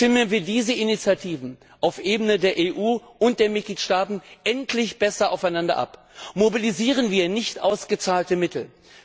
Stimmen wir diese Initiativen auf der Ebene der EU und der Mitgliedstaaten endlich besser aufeinander ab! Mobilisieren wir nicht ausgezahlte Mittel!